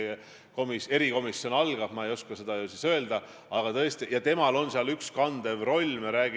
Armas on Eesti iseseisvus, mis on tulnud meie vaarisade ja vaaremade ja vanaisade ja vanaemade ja emade-isade targa töö tulemusena.